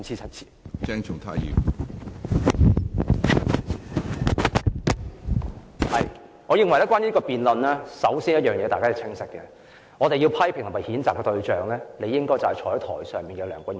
關於這項辯論，我認為首先大家要清晰，我們要批評和譴責的對象，理應是坐在台上的梁君彥主席。